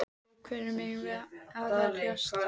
Og hverjum eigum við að verjast?